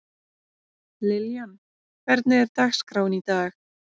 Liljan, hvernig er dagskráin í dag?